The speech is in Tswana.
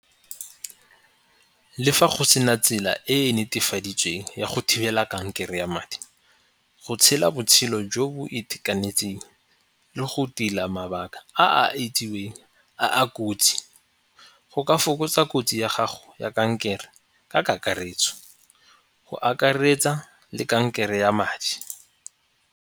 Le fa go sena tsela e e netefaditsweng ya go thibela kankere ya madi, go tshela botshelo jo bo itekanetseng le go tila mabaka a a itseweng a a kotsi go ka fokotsa kotsi ya gago ya kankere ka kakaretso. Go akaretsa le kankere ya madi.